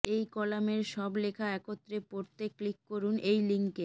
এই কলামের সব লেখা একত্রে পড়তে ক্লিক করুন এই লিংকে